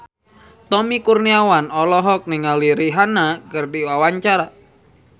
Tommy Kurniawan olohok ningali Rihanna keur diwawancara